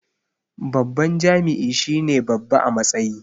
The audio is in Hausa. Babban jami'i shine babba a matsayi